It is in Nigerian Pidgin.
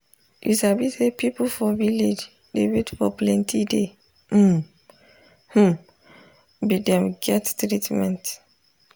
you sabi say people for village dey wait for plenti day um hmm be dem get treatment.